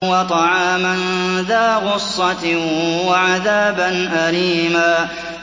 وَطَعَامًا ذَا غُصَّةٍ وَعَذَابًا أَلِيمًا